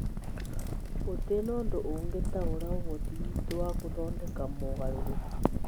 Gũtirĩ ũndũ ũngĩtaũra ũhoti witũ wa gũthondeka mogarũrũku.